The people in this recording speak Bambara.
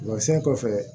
Masɛn kɔfɛ